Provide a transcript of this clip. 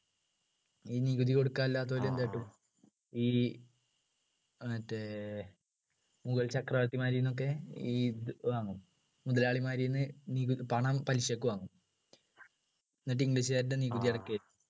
ഈ നികുതി കൊടുക്കാൻ ഇല്ലാത്തവര് എന്ത് കാട്ടും ഈ മറ്റേ മുഗൾ ചക്രവർത്തിമാരിൽ നിന്നൊക്കെ ഇത് വാങ്ങും മുതലാളിമാരിന്ന് നികുതി പണം പലിശക്ക് വാങ്ങും എന്നിട്ട് english കാരുടെ നികുതി അടക്കയ്യ